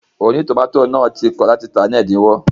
Ònítòmátò náà ti kọ̀ láti tàá ní ẹ̀dínwó